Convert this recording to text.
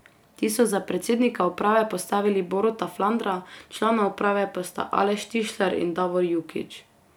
Ti so za predsednika uprave postavili Boruta Flandra, člana uprave pa sta Aleš Tišler in Davor Jukić.